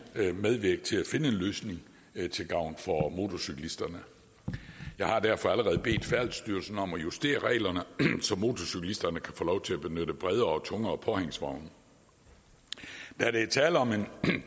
medvirke til at finde en løsning til gavn for motorcyklisterne jeg har derfor allerede bedt færdselsstyrelsen om at justere reglerne så motorcyklisterne kan få lov til at benytte bredere og tungere påhængsvogne da der er tale om en